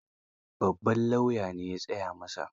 Babban lauya ne ya tsaya masa.